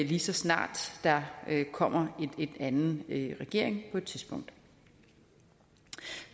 lige så snart der kommer en anden regering på et tidspunkt